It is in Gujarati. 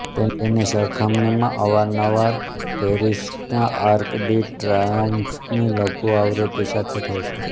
તેની સરખામણી અવારનવાર પેરિસના આર્ક ડી ટ્રાયોમ્ફની લઘુ આવૃત્તિ સાથે થાય છે